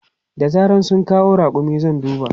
Da zaran sun kawo raƙumin zan duba.